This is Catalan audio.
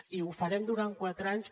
i ho farem durant quatre anys